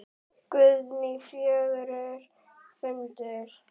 Guðný: Fjörugur fundur?